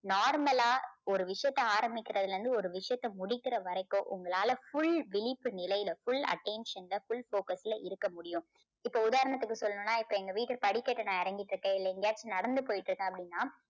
normal ஆ ஒரு விஷயத்தை ஆரம்பிக்கிறதுல இருந்து ஒரு விஷயத்தை முடிக்கிற வரைக்கும் உங்களால full விழிப்பு நிலையில full attention ல full focus ல இருக்க முடியும். இப்போ உதாரணத்துக்கு சொல்லணும்னா இப்போ எங்க வீட்டு படிக்கட்டுல நான் இறங்கிட்டு இருக்கேன் இல்ல எங்கேயாச்சும் நடந்து போயிட்டு இருக்கேன் அப்படின்னா